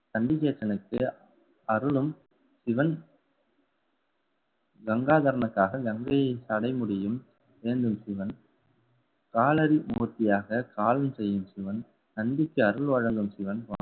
சண்டிகேசனுக்கு அருளும் சிவன் கங்காதரனுக்காக கங்கையை சடை முடியும். வேந்தன் சிவன் காலடி மூர்த்தியாக காலம் செய்யும் சிவன் நந்திக்கு அருள் வழங்கும் சிவன்